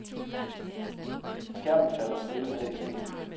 Skærmen falder stille ned i sneen.